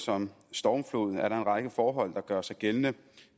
som stormflod er der en række forhold der gør sig gældende